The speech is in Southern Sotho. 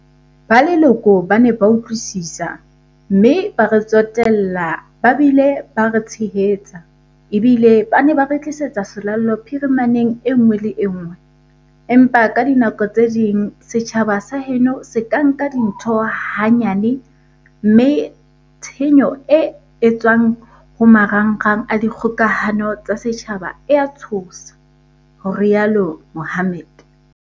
"Ba leloko ba ne ba utlwisisa, mme ba re tsotel-la ba bile ba re tshehetsa, ebile ba ne ba re tlisetsa selallo phirimaneng en-ngwe le enngwe, empa ka dinako tse ding setjhaba sa heno se ka nka dintho ha-nyane mme tshenyo e etswa-ng ho marangrang a dikgoka-hano tsa setjhaba e a tshosa," ho rialo Mohammed.